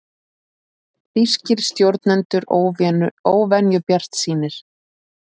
Þýskir stjórnendur óvenju bjartsýnir